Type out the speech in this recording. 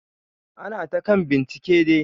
Ana ta kan bincike dai.